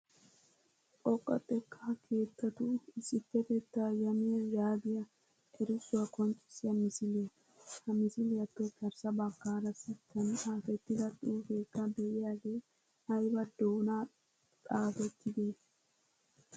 Xoqqaa xekkaa keettaatu issippetetta yamiyaa yagiyaa erissuwaa qonccissiya misiliyaa. Ha misiliyaappe garssa baggaara sittan xaafettida xuufekka de'iyaagee aybba doona xaafettide?